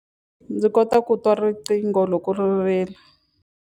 Ndzi kota ku twa riqingho loko ri rila.